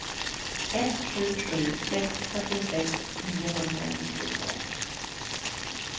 ett sju sju sex fyrtiosex niohundranittiotvå